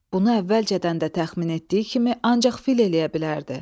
Bunu əvvəlcədən də təxmin etdiyi kimi ancaq fil eləyə bilərdi.